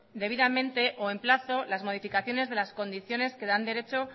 debidamente o en plazo las modificaciones de las condiciones que dan derecho